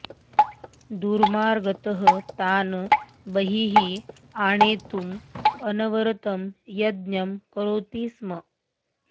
दुर्मार्गतः तान् बहिः आनेतुम् अनवरतं यत्नं करोति स्म